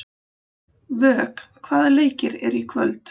Vök, hvaða leikir eru í kvöld?